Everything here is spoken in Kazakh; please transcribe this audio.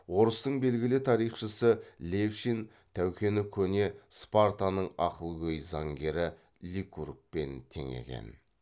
орыстың белгілі тарихшысы левшин тәукені көне спартаның ақылгөй заңгері ликургпен теңеген